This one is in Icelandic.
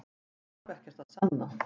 Hann þarf ekkert að sanna